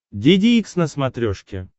деде икс на смотрешке